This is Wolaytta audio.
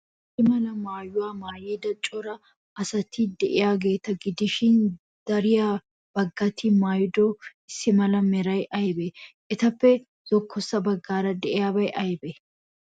Issi mala maayuwa maayida cora asati de'iyaageeta gidishin, dariya baggati maayido issi mala meray aybee? Etappe zokkossa baggaara de'iyabay aybee?